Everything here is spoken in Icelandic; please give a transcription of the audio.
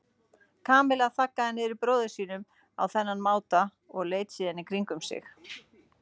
Kamilla þaggaði niður í bróður sínum á þennan máta og leit síðan í kringum sig.